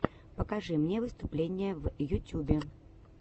покажи мне выступления в ютюбе